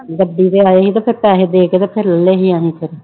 ਗੱਡੀ ਤੇ ਆਏ ਸੀ ਤੇ ਫਿਰ ਪੈਸੇ ਦੇ ਕੇ ਤੇ ਫਿਰ ਲੈ ਲਏ ਅਸੀਂ ਫਿਰ।